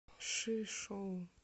шишоу